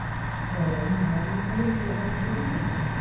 ও মানে আগে কোনো দিন তুই account খুলিসনি